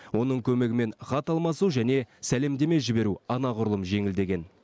оның көмегімен хат алмасу және сәлемдеме жіберу анағұрлым жеңілдеген